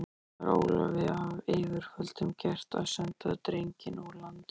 Var Ólafi af yfirvöldum gert að senda drenginn úr landi.